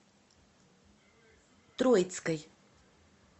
троицкой